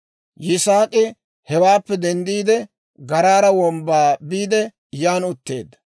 Yisaak'i hewaappe denddiide, Garaara Wombbaa biide yan utteedda.